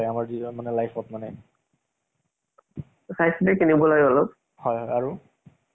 তাৰ জৰিয়তে কিছুমান ঠুল মূল কৈ অলপ শিকি আৰু জানো যে সেই বিলাক কেনেকুৱা আছে